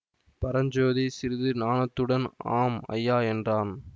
பரஞ்சோதி சிறிது நாணத்துடன் ஆம் ஐயா என்றான்